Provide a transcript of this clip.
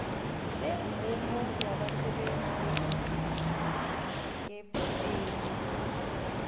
semvumo yabasebenzi beenkepeni